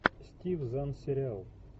стив зан сериал